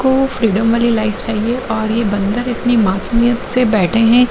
तो फ्रीडम वाली लाइफ चाहिए और ये बंदऱ इतनी मासूमियत से बैठे हैं।